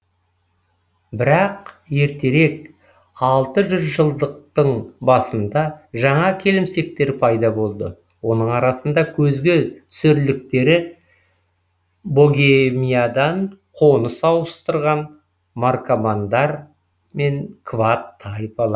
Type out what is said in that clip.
бірақ ертерек алты жүз жылдықтың басында жаңа келімсектер пайда болды оның арасында көзге түсерліктері богемиядан қоныс ауыстырған маркомандар мен квад тайпалары